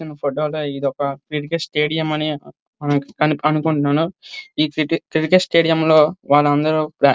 ఫోటోలో ఇదొక cricket stadium అని అనుకుంటున్నాను ఈ క్రికెట్ స్టేడియంలో వాళ్ళందరూ.